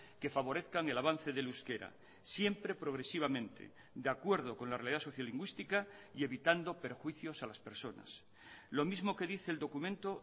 que favorezcan el avance del euskera siempre progresivamente de acuerdo con la realidad sociolingüística y evitando perjuicios a las personas lo mismo que dice el documento